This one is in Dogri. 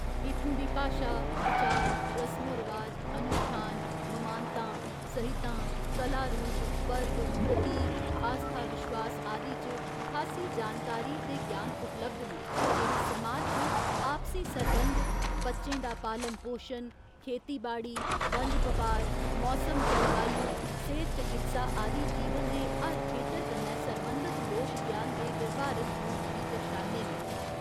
इत्थुं दी भाशा, विचार, रसमो रवाज, अनुश्ठान, ममानतां, सहिंतां, कला रूप, पर्व, प्रतीक, आस्था विश्वास आदि च खासी जानकारी ते ज्ञान उपलब्ध न जेह्ड़े समाज च आपसी सरबंध, बच्चें दा पालन पोशन, खेतीबाड़ी, बनज बपार, मौसम जलवायु, सेह्त चकित्सा आदि जीवन दे हर खेतर कन्नै सरबंधत लोक ज्ञान दे व्यावहारिक रूप गी दर्शांदे न।